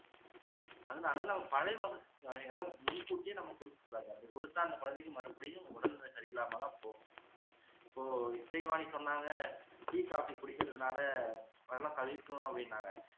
அதனால நம்ம பழ வகை வகைகளை முன்கூட்டியே நம்ம கொடுக்க கூடாது அப்படி கொடுத்தா அந்த குழந்தைக்கு மறுபடியும் உடல்நிலை சரியில்லாம தான் போகும் இப்போ இசைவாணி சொன்னாங்க tea coffee குடிக்குறதுனால